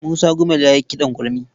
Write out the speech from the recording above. Musa Gumel ya yi kiɗan gurmi.